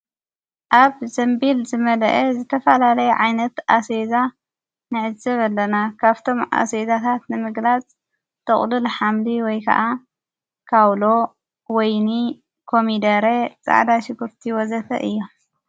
ኣብ ዘንቢል ዝመልአ ዝተፋላለይ ዓይነት ኣሰቤዛ ነዕዝብ ኣለና ካብቶም ኣሰቤዛታት ንምግላጽ ተቕሉል ሃምሊ ወይ ከዓ ካውሎ ወይኒ ኮሚደሬ ፃዕዳ ሽጉርቲ ወዘተ እዮ።